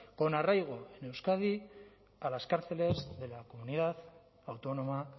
con arraigo en euskadi a las cárceles de la comunidad autónoma